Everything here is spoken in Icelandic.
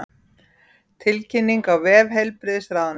Tilkynningin á vef heilbrigðisráðuneytisins